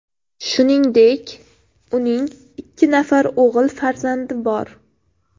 Shuningdek, uning ikki nafar o‘g‘il farzandi bor.